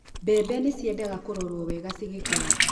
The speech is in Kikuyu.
mbembe ni ciendaga kũrorũo wega cigĩkũra